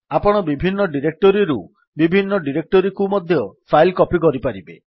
ଆପଣ ବିଭିନ୍ନ ଡିରେକ୍ଟୋରୀରୁ ବିଭିନ୍ନ ଡିରେକ୍ଟୋରୀକୁ ମଧ୍ୟ ଫାଇଲ୍ କପୀ କରିପାରିବେ